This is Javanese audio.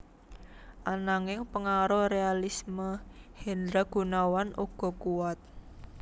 Ananging pengaruh realisme Hendra Gunawan uga kuwat